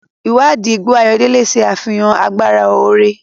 Ìwádìí igbó ayọ̀dele ṣe àfihàn agbára oore.